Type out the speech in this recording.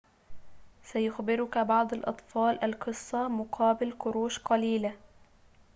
سيخبرك بعض الأطفال القصة مقابل قروش قليلة